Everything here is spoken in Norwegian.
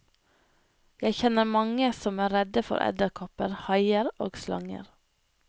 Jeg kjenner mange som er redde for edderkopper, haier og slanger.